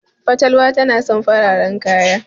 fatalwa tana sa fararen kaya